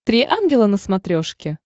три ангела на смотрешке